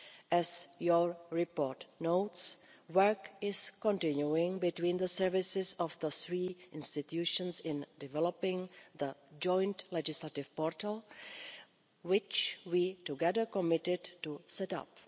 As your report notes, work is continuing between the services of the three institutions in developing the joint legislative portal, which we together committed to set up.